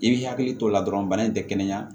I b'i hakili t'o la dɔrɔn bana in tɛ kɛnɛya